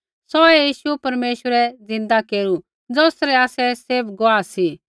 सौहै यीशु परमेश्वरै ज़िन्दा केरू ज़ौसरै आसै सब गुआह सी